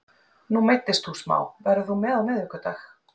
Nú meiddist þú smá, verður þú með á miðvikudag?